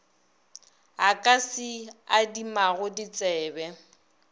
a ka se adimago ditsebe